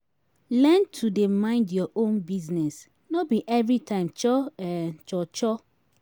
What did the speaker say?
learn to dey mind yur own business no bi evri time cho um cho cho